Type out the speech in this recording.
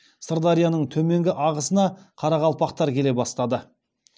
сырдарияның төменгі ағысына қарақалпақтар келе бастады